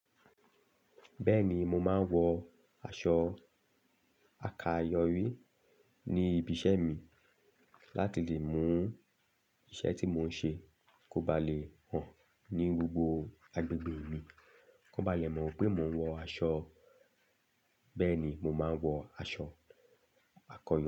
Bẹ́ẹ̀ni mo máa ń wọ aṣọ àkayọ̀wí ní ibi iṣẹ́ mi láti lè mú iṣẹ́ tí mò ń ṣe kó ba lè hàn ní gbogbo agbègbè mi, kó ba lè mọ̀ pé mò ń wọ aṣọ. Bẹ́ẹ̀ni mo máa ń wọ aṣọ àkayọ̀wí.